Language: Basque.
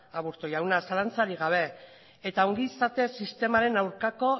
aburto jauna zalantzarik gabe eta ongizate sistemaren aurkako